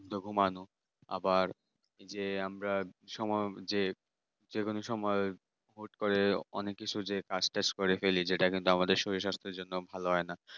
আবার ওই যে আমরা সম্ভবত যেই যেকোনো সময় হুট করে অনেক কিছু যে কাজটাজ করে ফেলি যেটাকে আমাদের শরীর স্বাস্থ্যের জন্য ভালো হয় না।